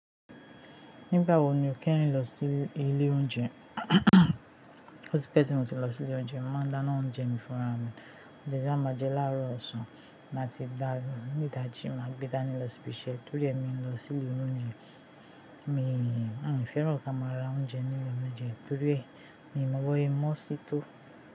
Nígbà wo ni o kéyin lọ sí ilé oúnjẹ? Ó ti pẹ́ tí mo ti lọ sí ilé oúnjẹ. Mo máa ń dána oúnjẹ mi fúnra mi. Òúnjẹ ta ba maa je laáró ọ̀sán máti dà ni ìdajì, má gbé dání lọ síbi iṣẹ́ torí èmi ń lọ sí ilé oúnjẹ. Un o fẹ́ràn kí a máa ra oúnjẹ ní ilé oúnjẹ torí e, mi mọ bo sẹ mọ́n sí tó.